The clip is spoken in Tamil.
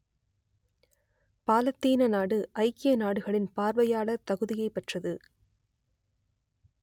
பாலத்தீன நாடு ஐக்கிய நாடுகளின் பார்வையாளர் தகுதியைப் பெற்றது